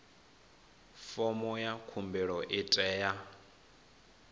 fomo ya khumbelo i tea